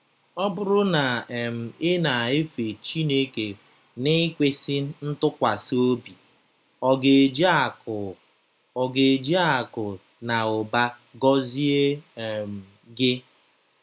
Ọ BỤRỤ na um ị na-efe Chineke n’ikwesị ntụkwasị obi, ọ̀ ga-eji akụ̀ ọ̀ ga-eji akụ̀ na ụba gọzie um gị?